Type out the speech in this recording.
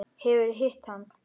Hefurðu hitt hann?